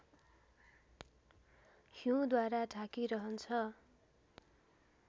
हिउँद्वारा ढाकिरहन्छ